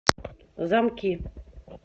замки